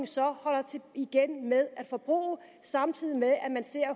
så holder igen med at forbruge samtidig med at